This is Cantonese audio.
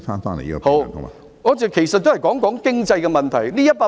好的，我其實是談及經濟的問題。